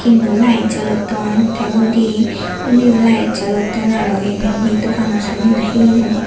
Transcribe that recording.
tinno light jolodon te undiyo light jolodon aro iben he dogano sanne na he hijeni.